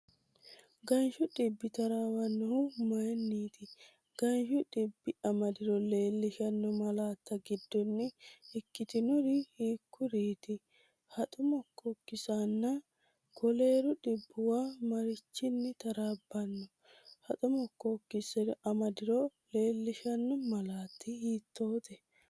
Ganshu dhibbi taraawannohu mayinniiti? Ganshu dhibbi amadiro leellishanno malaatta giddonni ikkitinori hiikkuriiti? Haxo mokkookkisinna koleeru dhibbuwa marichinni taraabbanno? Haxo mokkookkisi amadiro leellishanno malaatta hiittoote?